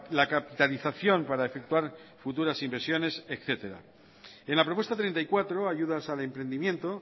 la capitalización para efectuar futuras inversiones etcétera en la propuesta treinta y cuatro ayudas al emprendimiento